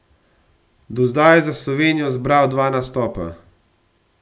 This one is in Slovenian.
Do zdaj je za Slovenijo zbral dva nastopa.